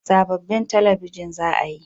Sabobbin talabijin za a yi